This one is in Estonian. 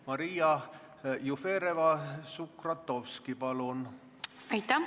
Maria Jufereva-Skuratovski, palun!